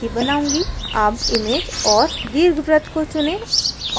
अब image औऱ दीर्घवृत्त को चुनें